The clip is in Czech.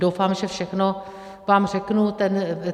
Doufám, že všechno vám řeknu.